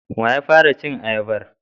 Wa ya fara cin ayabar?